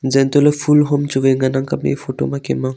jan to ley ful hon chu woi ngan ang kap ley tai ley Kem ang.